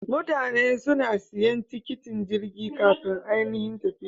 Mutane suna siyan tiketin Jirgi kafin anihin tafiyar.